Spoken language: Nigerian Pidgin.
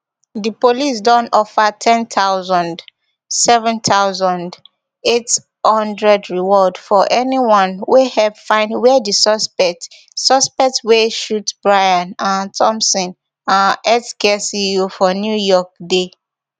di police don offer ten thousand seven thousand, eight hundred reward for anyone wey help find wia di suspect suspect wey shoot brian um thompson um healthcare ceo for new york dey